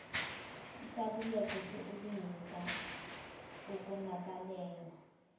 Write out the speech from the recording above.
isaluleko sokulungisa okonakeleyo